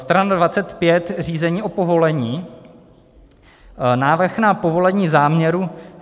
Strana 25 - řízení o povolení, návrh na povolení záměru.